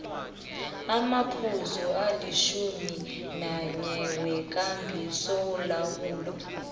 amaphuzu alitjhuminanye wekambisolawulo